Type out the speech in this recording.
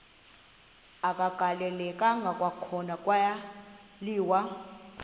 agaleleka kwakhona kwaliwa